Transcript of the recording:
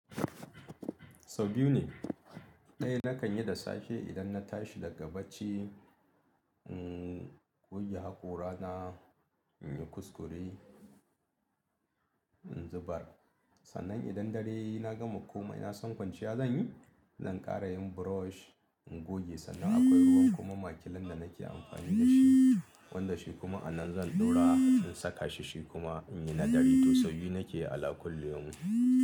Sau biyu ne. Ɗaya nakan yi da safe idan na tashi daga bacci, uhm, goge haƙora na, in yi kuskure, in zubar. Sannan idan dare na gama komai na san kwanciya zan yi, zan ƙara yin brush, in goge sannan akwai ruwan kuma ma kiln da nake amfani da shi, wanda shi kuma anan zan ɗora in saka shi, shi kuma in yi na dare. To sau biyu nake ala kullu yaumun.